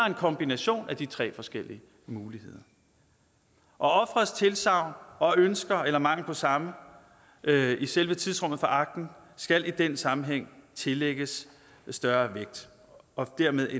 en kombination af de tre forskellige muligheder og offerets tilsagn og ønsker eller mangel på samme i selve tidsrummet for akten skal i den sammenhæng tillægges større vægt for dermed at